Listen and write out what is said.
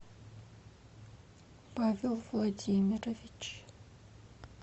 павел владимирович